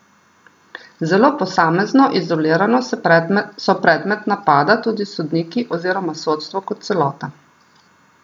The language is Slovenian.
Zelo posamezno, izolirano so predmet napada tudi sodniki oziroma sodstvo kot celota.